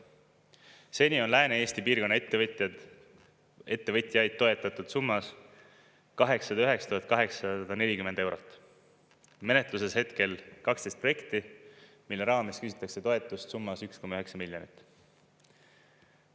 Seni on Lääne-Eesti piirkonna ettevõtjaid toetatud summas 809 840 eurot, menetluses hetkel 12 projekti, mille raames küsitakse toetust summas 1,9 miljonit.